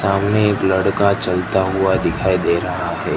सामने एक लड़का चलता हुआ दिखाई दे रहा हैं।